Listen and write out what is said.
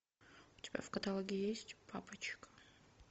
у тебя в каталоге есть папочка